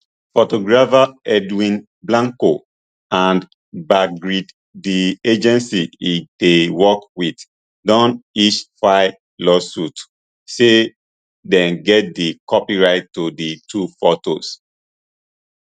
photographer edwin blanco and backgrid di agency e dey work wit don each file lawsuits say dem get di copyright to di two fotos